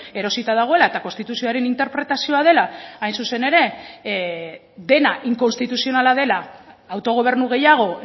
erosita dagoela eta konstituzioaren interpretazioa dela hain zuzen ere dena inkonstituzionala dela autogobernu gehiago